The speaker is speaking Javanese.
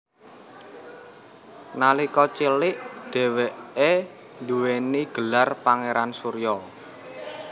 Nalika cilik dheweke duwéni gelar Pangeran Surya